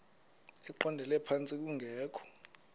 eqondele phantsi kungekho